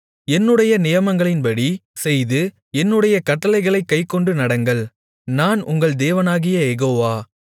என்னுடைய நியாயங்களின்படி செய்து என்னுடைய கட்டளைகளைக் கைக்கொண்டு நடங்கள் நான் உங்கள் தேவனாகிய யெகோவா